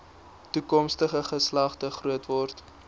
toekomstige geslagte grootword